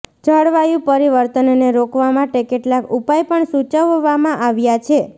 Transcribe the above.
જળવાયુ પરિવર્તનને રોકવા માટે કેટલાક ઉપાય પણ સુચવવામાં આવ્યા છે